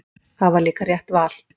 Það var líka rétt val.